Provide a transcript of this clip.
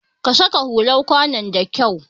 Ka saka hular kwanon da kyau!